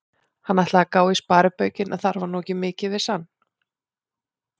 Hann ætlaði að gá í sparibaukinn, en þar var nú ekki mikið, vissi hann.